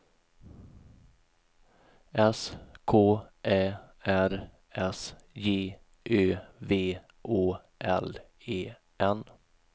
S K Ä R S J Ö V Å L E N